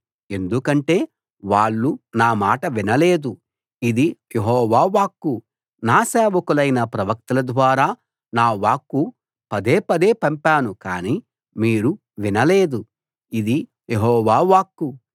ఎందుకంటే వాళ్ళు నా మాట వినలేదు ఇది యెహోవా వాక్కు నా సేవకులైన ప్రవక్తల ద్వారా నా వాక్కు పదేపదే పంపాను కాని మీరు వినలేదు ఇది యెహోవా వాక్కు